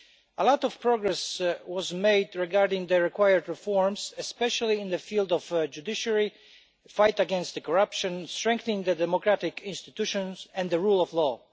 A lot of progress was made regarding the required reforms, especially in the field of judiciary, the fight against corruption, strengthening the democratic institutions, and the rule of law.